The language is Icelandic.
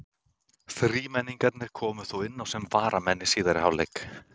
Þrímenningarnir komu þó inná sem varamenn í síðari hálfleik.